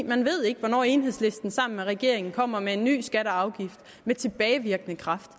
man ved ikke hvornår enhedslisten sammen med regeringen kommer med nye skatter og afgifter med tilbagevirkende kraft